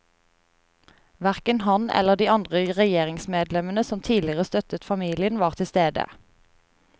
Verken han eller de andre regjeringsmedlemmene som tidligere støttet familien, var til stede.